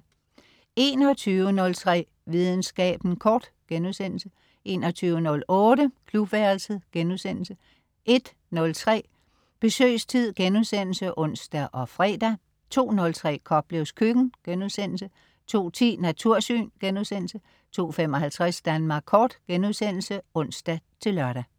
21.03 Videnskaben kort* 21.08 Klubværelset* 01.03 Besøgstid* (ons og fre) 02.03 Koplevs Køkken* 02.10 Natursyn* 02.55 Danmark Kort* (ons-lør)